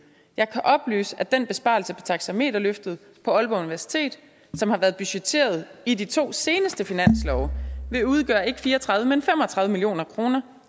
jeg kan oplyse at den besparelse på taxameterløftet på aalborg universitet som har været budgetteret i de to seneste finanslov vil udgøre ikke fire og tredive men fem og tredive million kroner